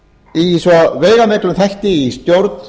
í svo veigamiklum þætti í stjórn